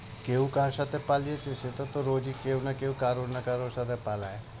কেউ কার সাথে পালিয়ে এসেছে তা তো রোজই কেউ না কেউ কারো না কারো সাথে পালায়।